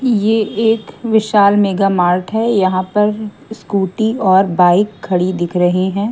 यह एक विशाल मेगा मार्ट है यहां पर स्कूटी और बाइक खड़ी दिख रहे हैं।